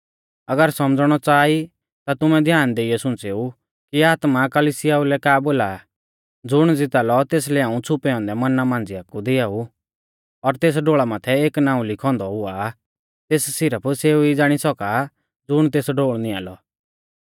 अगर सौमझ़णौ च़ाहा ई ता तुमै ध्याना देइयौ सुंच़ेऊ कि आत्मा कलिसियाऊ लै का बोला आ ज़ुण ज़िता लौ तेसलै हाऊं छ़ुपै औन्दै मन्ना मांझ़िआ कु दिआऊ और तेसकै एक शेतौ ढोल़ भी दिआऊ और तेस ढोल़ा माथै एक नाऊं लिखौ औन्दौ हुआ तेस सिरफ सेऊ ई ज़ाणी सौका ज़ुण तेस ढोल़ नियां लौ